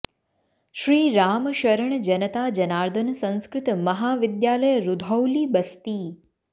Shri Ram Sharan Janata Janardan Sanskrit Mahavidyalaya Rudhauli Basti